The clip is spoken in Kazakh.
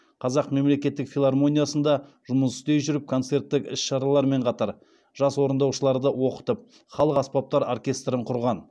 қазақ мемлекеттік филармониясында жұмыс істей жүріп концерттік іс шаралармен қатар жас орындаушыларды оқытып халық аспаптар оркестрін құрған